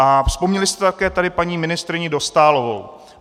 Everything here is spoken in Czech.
A vzpomněli jste tady také paní ministryni Dostálovou.